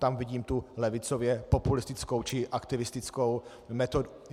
Tam vidím tu levicově populistickou či aktivistickou metodu.